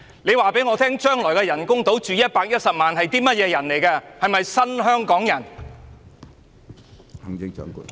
你卻告訴我將來的人工島可供110萬人居住，這些究竟是甚麼人？